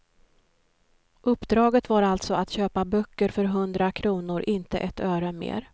Uppdraget var alltså att köpa böcker för hundra kronor, inte ett öre mer.